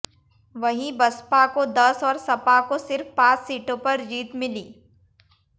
वहीं बसपा को दस और सपा को सिर्फ पांच सीटों पर जीत मिली